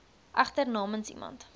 egter namens iemand